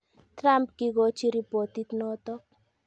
Trump kikochi ripotit notok